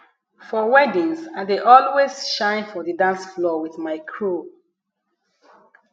for weddings i dey always shine for the dance floor with my crew